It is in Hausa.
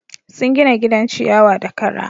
Sun gina gidan ciyawa da kara.